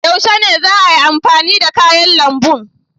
Yaushe ne za ayi amfani da kayan lambun?